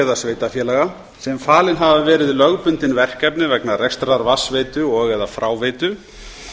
eða sveitarfélaga sem falin hafa verið lögbundin verkefni vegna rekstrar